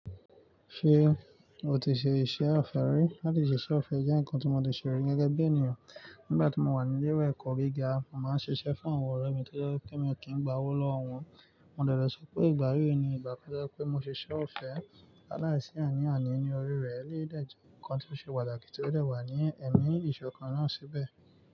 Ṣé o ti ṣe iṣẹ́ ọfẹ rí? Láti ṣiṣẹ́ ọfẹ jẹ́ nǹkan tí mo ti ṣe rí gẹ́gẹ́ bí ènìyàn. Nígbà tí mo wà ní ilé ẹ̀kọ́ gíga, mo máa ń ṣiṣẹ́ fún àwọn ọ̀rẹ́ mi tó jẹ́ wipé mi ò kí ń gba owó lọ́wọ́ wọn. Mo dẹ̀lẹ̀ so pé ìgbà yí ni ìgbà to jẹ́ wipé mo ṣe iṣẹ́ ọ̀fẹ́. Láìsí ani àní ní orí rẹ̀, eléyìí dẹ̀je ǹkan tí ó ṣe pàtàkì tí ó dẹ̀ wà ní ẹ̀mí ìṣọ̀kan náà síbẹ̀.